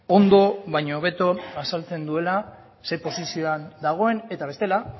ondo baina hobeto azaltzen duela zein posizioan dagoen eta bestela